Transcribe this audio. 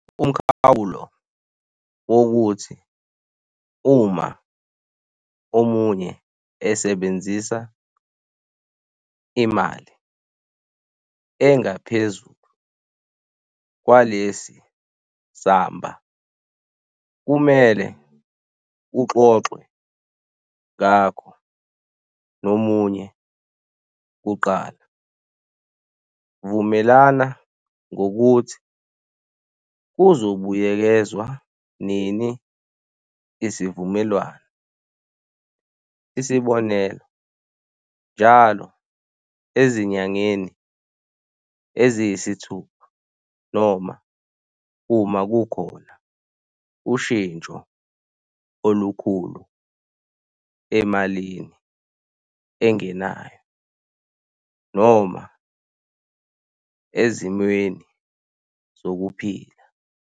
Umkhawulo wokuthi uma omunye esebenzisa imali engaphezulu kwalesi samba kumele uxoxe ngakho nomunye kuqala. Vumelana ngokuthi kuzo buyekezwa nini isivumelwano, isibonelo, njalo ezinyangeni eziyisithupha, noma uma kukhona ushintsho olukhulu emalini engenayo noma ezimweni zokuphila.